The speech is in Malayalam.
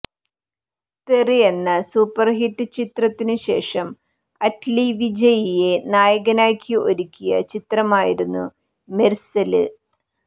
തെറി എന്ന സൂപ്പര്ഹിറ്റ് ചിത്രത്തിനു ശേഷം അറ്റ്ലീ വിജയിയെ നായകനാക്കി ഒരുക്കിയ ചിത്രമായിരുന്നു മെര്സല്